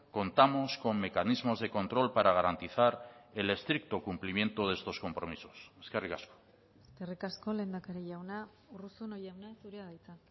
contamos con mecanismos de control para garantizar el estricto cumplimiento de estos compromisos eskerrik asko eskerrik asko lehendakari jauna urruzuno jauna zurea da hitza